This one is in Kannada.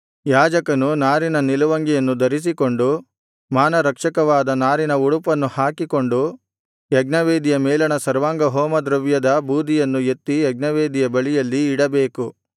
ಯಾಜಕನು ನಾರಿನ ನಿಲುವಂಗಿಯನ್ನು ಧರಿಸಿಕೊಂಡು ಮಾನರಕ್ಷಕವಾದ ನಾರಿನ ಒಳಉಡುಪನ್ನು ಹಾಕಿಕೊಂಡು ಯಜ್ಞವೇದಿಯ ಮೇಲಣ ಸರ್ವಾಂಗಹೋಮದ್ರವ್ಯದ ಬೂದಿಯನ್ನು ಎತ್ತಿ ಯಜ್ಞವೇದಿಯ ಬಳಿಯಲ್ಲಿ ಇಡಬೇಕು